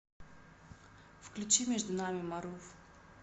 включи между нами марув